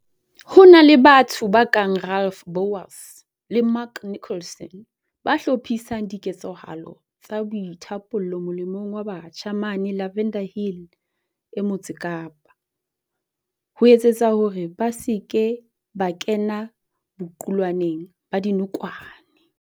Ho na le batho ba kang Ralph Bouwers le Mark Nicholson, ba hlophisang diketsahalo tsa boithapollo molemong wa batjha mane Lavender Hill e Motse Kapa, ho etsetsa hore ba se ke ba kena boqulwaneng ba dinokwane.